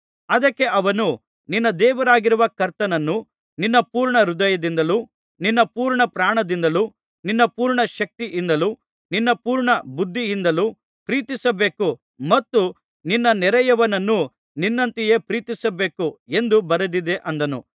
ಅದಕ್ಕೆ ಅವನು ನಿನ್ನ ದೇವರಾಗಿರುವ ಕರ್ತನನ್ನು ನಿನ್ನ ಪೂರ್ಣಹೃದಯದಿಂದಲೂ ನಿನ್ನ ಪೂರ್ಣಪ್ರಾಣದಿಂದಲೂ ನಿನ್ನ ಪೂರ್ಣಶಕ್ತಿಯಿಂದಲೂ ನಿನ್ನ ಪೂರ್ಣ ಬುದ್ಧಿಯಿಂದಲೂ ಪ್ರೀತಿಸಬೇಕು ಮತ್ತು ನಿನ್ನ ನೆರೆಯವನನ್ನು ನಿನ್ನಂತೆಯೇ ಪ್ರೀತಿಸಬೇಕು ಎಂದು ಬರೆದದೆ ಅಂದನು